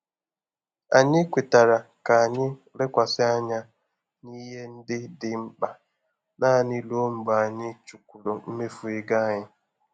Anyị kwetara ka anyị lekwasị anya na ihe ndị dị mkpa naanị ruo mgbe anyị chukwuru mmefu ego anyị.